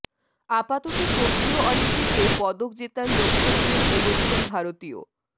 আপাতত টোকিও অলিম্পিকে পদক জেতার লক্ষ্য নিয়েই এগোচ্ছেন ভারতীয়